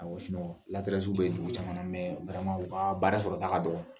Awɔ bɛ dugu caman u ka baara sɔrɔta ka dɔgɔn.